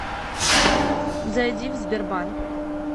зайди в сбербанк